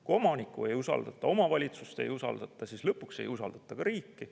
Kui omanikku ei usaldata, omavalitsust ei usaldata, siis lõpuks ei usaldata ka riiki.